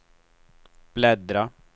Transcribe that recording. bläddra